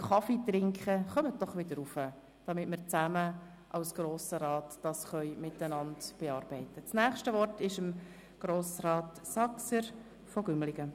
Zu jenen, die sich im Café befinden und mich hören: Kommen Sie doch bitte wieder hoch in den Ratssaal, damit wir das jetzige Geschäft bearbeiten können.